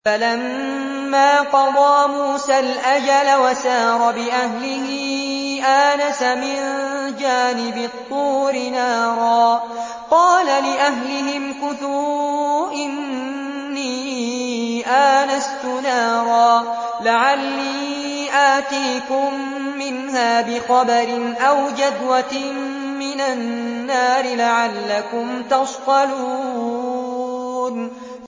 ۞ فَلَمَّا قَضَىٰ مُوسَى الْأَجَلَ وَسَارَ بِأَهْلِهِ آنَسَ مِن جَانِبِ الطُّورِ نَارًا قَالَ لِأَهْلِهِ امْكُثُوا إِنِّي آنَسْتُ نَارًا لَّعَلِّي آتِيكُم مِّنْهَا بِخَبَرٍ أَوْ جَذْوَةٍ مِّنَ النَّارِ لَعَلَّكُمْ تَصْطَلُونَ